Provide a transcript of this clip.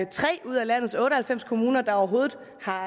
tre ud af landets otte og halvfems kommuner der overhovedet har